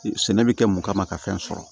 Sɛnɛ bɛ kɛ mun kama ka fɛn sɔrɔ